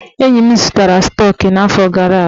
Enyi m zụtara stọk n'afọ gara aga.